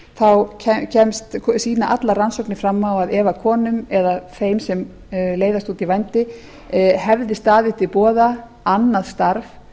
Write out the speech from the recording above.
þá sýna allar rannsóknir fram á að ef konum eða þeim sem leiðast út í vændi hefði staðið til boða annað starf